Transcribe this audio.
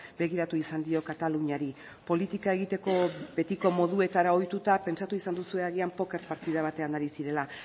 begiratu izan dio kataluniari politika egiteko betiko moduetara ohituta pentsatu izan duzue agian poker partida batean ari zirela